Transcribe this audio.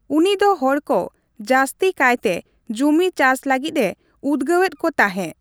ᱩᱱᱤ ᱫᱚ ᱦᱚᱲᱠᱚ ᱡᱟᱹᱥᱛᱤ ᱠᱟᱭᱛᱮ ᱡᱩᱢᱤ ᱪᱟᱥ ᱞᱟᱹᱜᱤᱫᱼᱮ ᱩᱫᱜᱟᱹᱣ ᱮᱫ ᱠᱚ ᱛᱟᱸᱦᱮ ᱾